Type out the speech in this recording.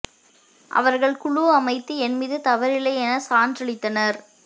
அவர்கள் குழு அமைத்து என்மீது தவறில்லை என சான்று அளித்தனர்